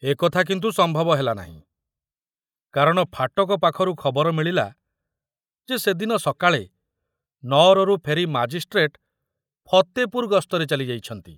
ଏକଥା କିନ୍ତୁ ସମ୍ଭବ ହେଲାନାହିଁ, କାରଣ ଫାଟକ ପାଖରୁ ଖବର ମିଳିଲା ଯେ ସେଦିନ ସକାଳେ ନଅରରୁ ଫେରି ମାଜିଷ୍ଟ୍ରେଟ ଫତେପୁର ଗସ୍ତରେ ଚାଲିଯାଇଛନ୍ତି।